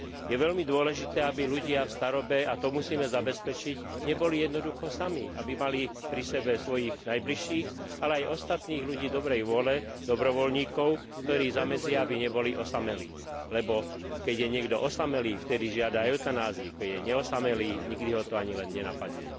Je veľmi dôležité, aby ľudia v starobe, a to musíme zabezpečiť, neboli jednoducho sami, aby mali pri sebe svojich najbližších, ale aj ostatných ľudí dobrej vôle, dobrovoľníkov, ktorí zamedzia, aby neboli osamelí, lebo keď je niekto osamelý, vtedy žiada eutanáziu, keď je neosamelý, nikdy ho to ani len nenapadne.